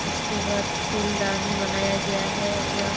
उसके बाद फूलदानी बनाया गया है यह --